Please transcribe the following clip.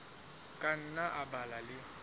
ka nna a ba le